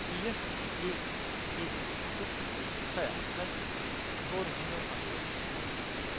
fire en en to treoghalvtreds otte hundrede og enoghalvfjerds